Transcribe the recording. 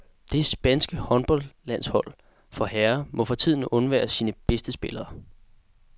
Det spanske håndboldlandshold for herrer må for tiden undvære sin bedste spiller.